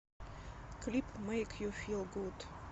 клип мэйк ю фил гуд